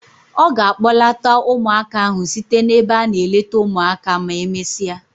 Ọ ga a kpọlata ụmụaka ahụ site n'ebe a na-eleta ụmụaka ma emesịa.